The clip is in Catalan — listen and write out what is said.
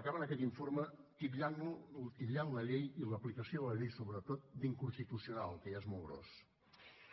acaben aquest informe titllant la llei i l’aplicació de la llei sobretot d’inconstitucional que ja és molt gros